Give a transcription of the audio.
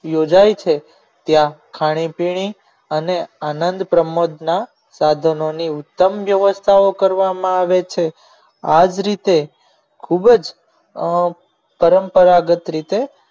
યોજાઈ છે ત્યાં ખાણીપીણી અને આનંદ પ્રમોદના સાધનોની ઉત્તમ વ્યવસ્થાઓ કરવામાં આવે છે આ જ રીતે ખૂબ જ પરંપરાગત રીતે